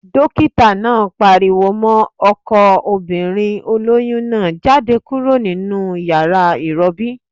Dókítà náà pariwo mọ́ ọkọ obìnrin olóyún náà "jáde kúrò nínu yàrá ìrọbí!"